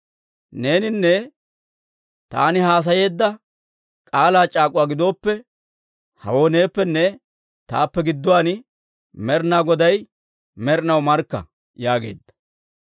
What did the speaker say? Neeninne taani haasayeedda k'aalaa c'aak'uwaa gidooppe, hewoo neeppenne taappe gidduwaan Med'inaa Goday med'inaw markka» yaageedda.